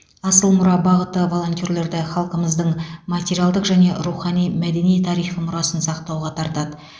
асыл мұра бағыты волонтерлерді халқымыздың материалдық және рухани мәдени тарихи мұрасын сақтауға тартады